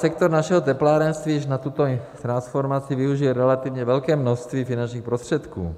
Sektor našeho teplárenství již na tuto transformaci využije relativně velké množství finančních prostředků.